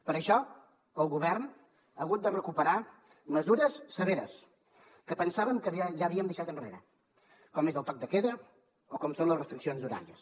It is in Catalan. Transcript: per això el govern ha hagut de recuperar mesures severes que pensàvem que ja havíem deixat enrere com és el toc de queda o com són les restriccions horàries